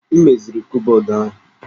Ị meziri kụpbọdụ ahụ!